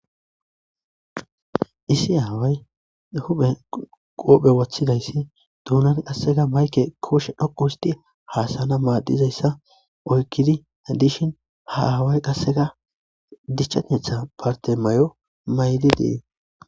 issi aaway huphe qoophe wothidayssi duunan qasseka mayke kooshe dhoqu histi haasana maaddizayssa oykkidi dishin ha aaway qasseka dichchaetha bartemaayo mayllidii